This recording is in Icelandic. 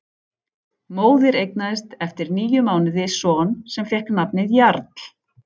Móðir eignaðist eftir níu mánuði son sem fékk nafnið Jarl.